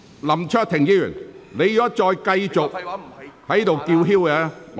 林卓廷議員，如果你繼續在席上叫喊，我......